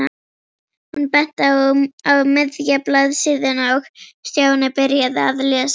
Hún benti á miðja blaðsíðuna og Stjáni byrjaði að lesa.